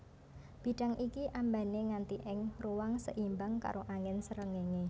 Bidang iki ambané nganti ing ruang seimbang karo angin sréngéngé